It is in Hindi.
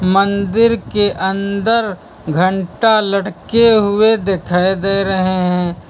मंदिर के अंदर घंटा लटके हुए दिखाई दे रहे हैं।